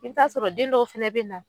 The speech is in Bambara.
I bi taa'a sɔrɔ den dɔw fɛnɛ be na